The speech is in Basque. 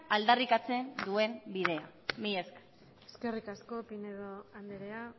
aldarrikatzen duen bidea mila esker eskerrik asko pinedo andrea